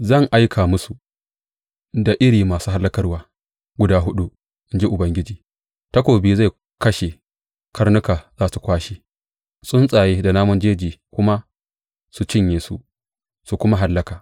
Zan aika musu da iri masu hallakarwa guda huɗu, in ji Ubangiji, takobi zai kashe, karnuka za su kwashe, tsuntsaye da namun jeji kuma su cinye su kuma hallaka.